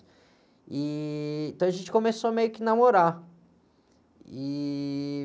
E, então a gente começou meio que a namorar. E...